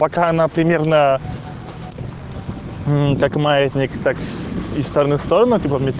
пока она примерно мм как маятник так из стороны в сторону типа ме